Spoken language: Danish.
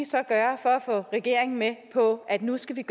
så gøre for at få regeringen med på at nu skal der